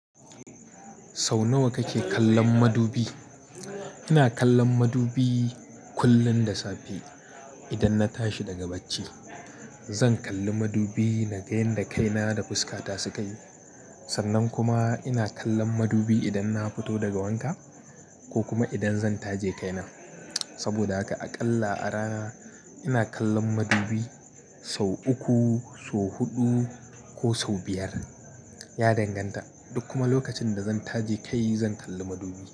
Sau nawa kake kallon madubi? Ina kallon madubi kullum da safe idan na tashi daga bacci. Zan kalli madubi na ga yanda kaina da fuska ta sukayi. Sannan kuma ina kallon madubi idan na fito daga wanka ko kuma idan zan taje kaina. Saboda haka aƙalla a rana ina kallon madubi sau uku, sau huɗu ko sau biyar. Ya danganta. Duk kuma lokacin da zan taje kai zan kalli madubi.